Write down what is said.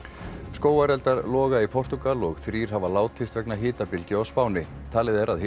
skógareldar loga í Portúgal og þrír hafa látist vegna hitabylgju á Spáni talið er að